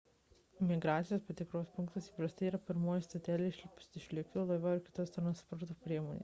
imigracijos patikros punktas įprastai yra pirmoji stotelė išlipus iš lėktuvo laivo ar kitos transporto priemonės